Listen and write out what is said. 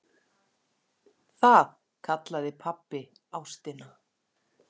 Það kallaði pabbi ástina.